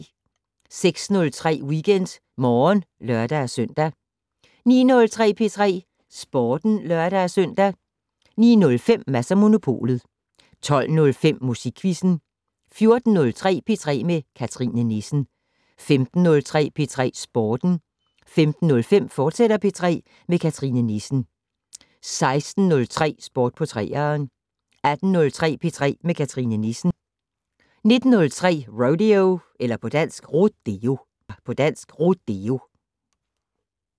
06:03: WeekendMorgen (lør-søn) 09:03: P3 Sporten (lør-søn) 09:05: Mads & Monopolet 12:05: Musikquizzen 14:03: P3 med Cathrine Nissen 15:03: P3 Sporten 15:05: P3 med Cathrine Nissen, fortsat 16:03: Sport på 3'eren 18:03: P3 med Cathrine Nissen 19:03: Rodeo